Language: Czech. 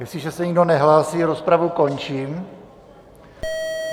Jestliže se nikdo nehlásí, rozpravu končím.